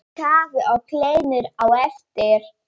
Kaffi og kleinur á eftir.